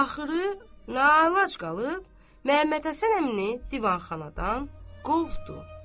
Axırı naçara qalıb Məhəmməd Həsən əmini divanxanadan qovdu.